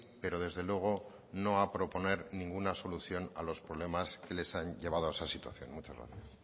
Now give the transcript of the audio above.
pero desde luego no a proponer ninguna solución a los problemas que les han llevado a esa situación muchas gracias